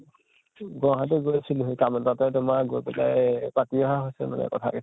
গুৱাহাটী গৈছিলোহি সেই কাম এটাতে তোমাৰ গৈ পেলাই পাতি অহা হৈছে কথা কেইটা